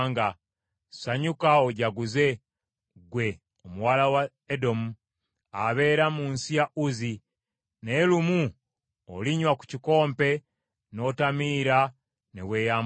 Sanyuka ojaguze, ggwe Omuwala wa Edomu, abeera mu nsi ya Uzi; naye lumu olinywa ku kikompe n’otamiira ne weeyambula.